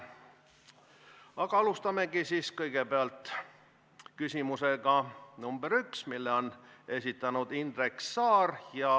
Aga alustamegi siis küsimusega number 1, mille esitab Indrek Saar.